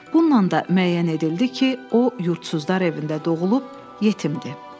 Bununla da müəyyən edildi ki, o yurdsuzlar evində doğulub yetimdir.